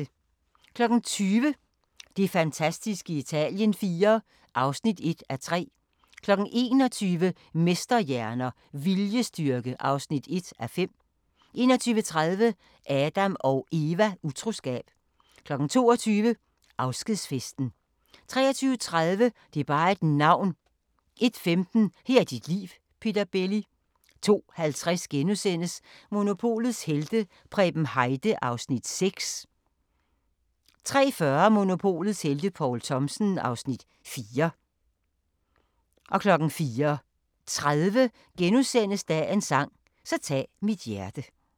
20:00: Det fantastiske Italien IV (1:3) 21:00: Mesterhjerner - viljestyrke (1:5) 21:30: Adam & Eva: Utroskab 22:00: Afskedsfesten 23:30: Det er bare et navn 01:15: Her er dit liv – Peter Belli 02:50: Monopolets helte - Preben Heide (Afs. 6)* 03:40: Monopolets helte - Poul Thomsen (Afs. 4) 04:30: Dagens sang: Så tag mit hjerte *